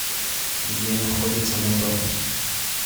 где находится мотор